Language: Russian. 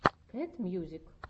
кэт мьюзик